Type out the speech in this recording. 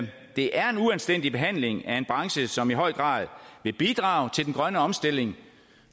det er en uanstændig behandling af en branche som i høj grad vil bidrage til den grønne omstilling